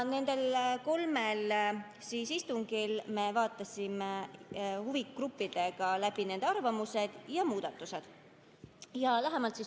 Nendel kolmel istungil me vaatasime huvigruppidega läbi nende arvamused ja muudatusettepanekud.